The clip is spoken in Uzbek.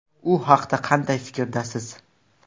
U haqida qanday fikrdasiz?